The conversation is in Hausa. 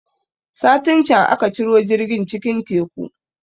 Satin can aka ciro jirgin cikin Teku